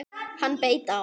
Hann beit á!